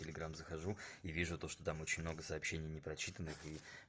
в телеграм захожу и вижу то что там очень много сообщений непрочитанных и